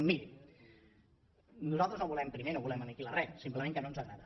miri nosaltres no ho volem primer no volem aniquilar res simplement que no ens agrada